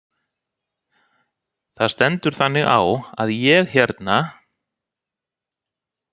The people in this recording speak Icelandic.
Það stendur þannig á að ég hérna.